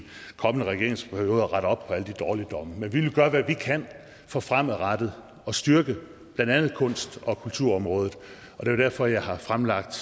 kommende regeringsperiode at rette op på alle de dårligdomme men vi vil gøre hvad vi kan for fremadrettet at styrke blandt andet kunst og kulturområdet det er derfor jeg har fremlagt